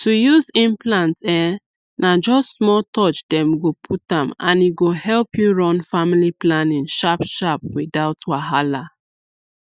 to use implant um na just small touch dem go put am and e go help you run family planning sharpsharp without wahala